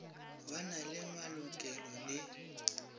ba na le malokelo le